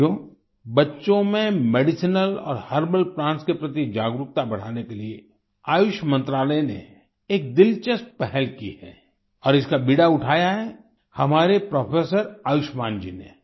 साथियो बच्चो में मेडिसिनल और हर्बल प्लांट्स के प्रति जागरूकता बढ़ाने के लिए आयुष मंत्रालय ने एक दिलचस्प पहल की है और इसका बीड़ा उठाया है हमारे प्रोफेसर आयुष्मान जी ने